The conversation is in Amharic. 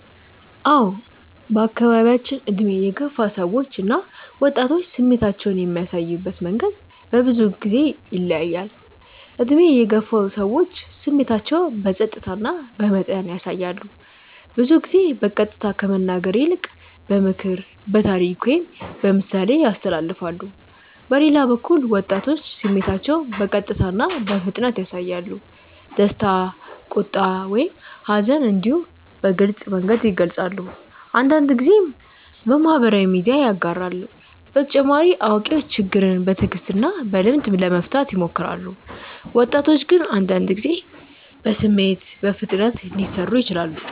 አዎ በአካባቢያችን ዕድሜ የገፉ ሰዎች እና ወጣቶች ስሜታቸውን የሚያሳዩበት መንገድ በብዙ ጊዜ ይለያያል። ዕድሜ የገፉ ሰዎች ስሜታቸውን በጸጥታ እና በመጠን ያሳያሉ። ብዙ ጊዜ በቀጥታ ከመናገር ይልቅ በምክር፣ በታሪክ ወይም በምሳሌ ያስተላልፋሉ። በሌላ በኩል ወጣቶች ስሜታቸውን በቀጥታ እና በፍጥነት ያሳያሉ። ደስታ፣ ቁጣ ወይም ሐዘን እንዲሁ በግልጽ መንገድ ይገልጻሉ፤ አንዳንድ ጊዜም በማህበራዊ ሚዲያ ያጋራሉ። በተጨማሪ አዋቂዎች ችግርን በትዕግስት እና በልምድ ለመፍታት ይሞክራሉ፣ ወጣቶች ግን አንዳንድ ጊዜ በስሜት በፍጥነት ሊሰሩ ይችላሉ።